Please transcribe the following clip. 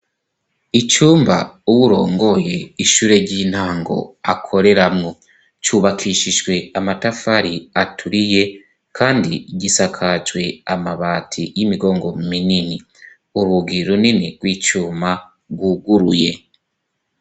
Icumba uwurongoye ishure ry'intango akoreramwo, cubakishijwe amatafari aturiye kandi gisakajwe amabati y'imigongo minini ,urugi runini gw'icuma gwuguruye.